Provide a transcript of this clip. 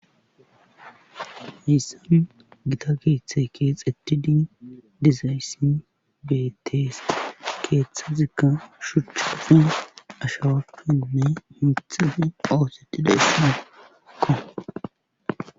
Hayssan gita keeththe keexetidi dizayssi betees keeththa zikka shuchchafi ashawappinne himthafi awuxetida issimikko